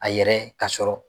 A yɛrɛ ka sɔrɔ